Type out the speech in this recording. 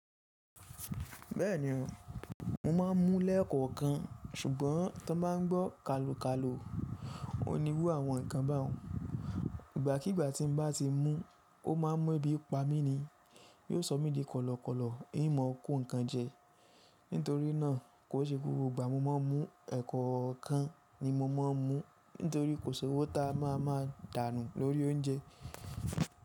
Bẹ́ẹ̀ni o, mo ma ń mu lẹ́kọ̀ọ́ kan ṣùgbọ́n tí wọ́n bá ń gbọ́ kàlò kàlò, òun ní irú àwọn nǹkan bá òun. Ìgbá kí ìgbá tí mo bá ti mú, ó máa mọ ibi pamí ni, yóò sọ mí di kọ̀lọ̀kọ̀lọ̀, yín mọ kó nǹkan jẹ. Nítorí náà, kò ṣe gbogbo ìgbà ni mo máa ń mú, ẹ̀kan kan ni mo máa ń mú nítorí kò ṣé owó ta a máa máa dànù lórí oúnjẹ.